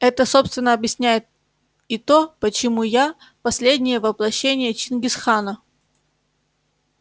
это собственно объясняет и то почему я последнее воплощение чингис хана